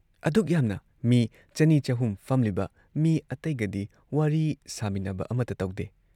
ꯑꯗꯨꯛ ꯌꯥꯝꯅ ꯃꯤ ꯆꯅꯤ ꯆꯍꯨꯝ ꯐꯝꯂꯤꯕ ꯃꯤ ꯑꯇꯩꯒꯗꯤ ꯋꯥꯔꯤ ꯁꯥꯃꯤꯟꯅꯕ ꯑꯃꯇ ꯇꯧꯗꯦ ꯫